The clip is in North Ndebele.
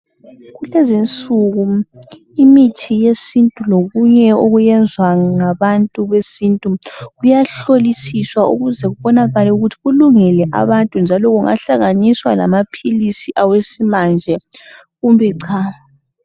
Kulezi insuku imithi yesintu lokunye okwenzwa ngabantu besintu, kuyahlolisiswa ukuze kubonakale ukuthi kulungele abantu njalo kungahlanganiswa lama philisi esimanje kumbe cha.